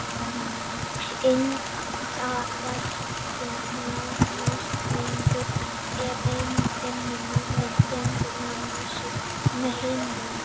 indverski nashyrningurinn er ein fimm núlifandi tegunda nashyrninga í heiminum